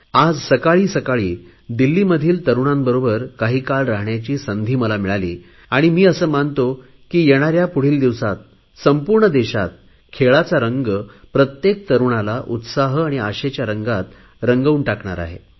आज सकाळी सकाळी दिल्लीमधील तरुणांबरोबर काही काळ राहण्याची संधी मला मिळाली आणि मी असे मानतो की येणाऱ्या पुढील दिवसात संपूर्ण देशात खेळाचा रंग प्रत्येक तरुणाला उत्साह आणि आशेच्या रंगात रंगवून टाकेल